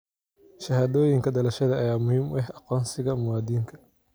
Shahaadooyinka dhalashada ayaa muhiim u ah aqoonsiga muwaadinka.